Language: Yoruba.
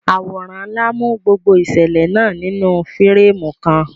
Àwòrán ńlá mú gbogbo ìṣẹ̀lẹ̀ náà nínú fírémù kan.